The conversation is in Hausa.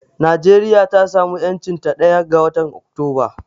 Najeriya ta samu 'yancinta ɗaya ga watan Oktoba.